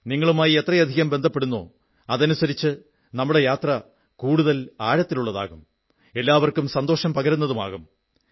നിങ്ങളുമായി എത്രയധികം ബന്ധപ്പെടുന്നോ അതനുസരിച്ച് നമ്മുടെ യാത്ര കൂടുതൽ ആഴത്തിലുള്ളതാകും എല്ലാവർക്കും സന്തോഷം പകരുന്നതുമാകും